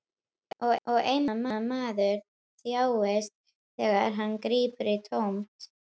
Og einmana maður þjáist þegar hann grípur í tómt.